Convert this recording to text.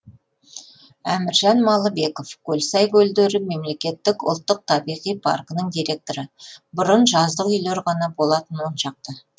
әміржан малыбеков көлсай көлдері мемлекеттік ұлттық табиғи паркінің директоры бұрын жаздық үйлер ғана болатын он шақты